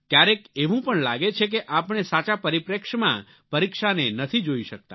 ક્યારેક એવું પણ લાગે છે કે આપણે સાચા પરિપ્રેક્ષ્યમાં પરીક્ષાને નથી જોઈ શકતા